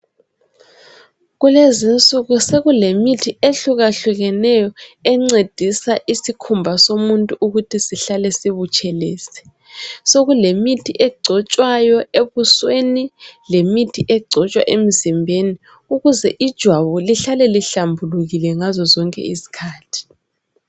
Kulezinsuku sokulemithi ehlukahlukeneyo encedisa isikhumba somuntu ukuthi sihlale sibutshelezi Sokulemithi egcotshwayo ebusweni lemithi egcotshwa emzimbeni ukuze ijwabu lihlale lihlambulukile ngazozonke isikhathi